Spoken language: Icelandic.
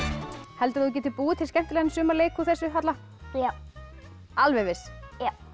heldurðu að þú getir búið til skemmtilegan sumarleik úr þessu Halla já alveg viss já